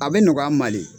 A bɛ nɔgɔya an ma de